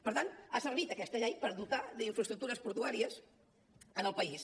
per tant ha servit aquesta llei per dotar d’infraestructures portuàries el país